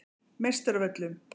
Meistaravöllum